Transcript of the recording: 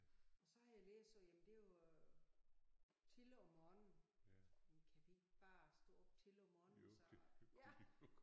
Og så har jeg læst sagde jamen det jo tidligt om morgenen jamen kan vi ikke bare stå op tidligt om morgenen så og ja